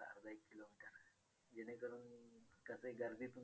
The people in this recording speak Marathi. अ त्यांच्या पत्नीचे